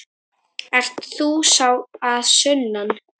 Ert þú sá að sunnan?